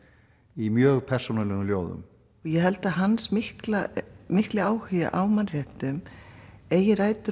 í mjög persónulegum ljóðum ég held að hans mikli mikli áhugi á mannréttindum eigi rætur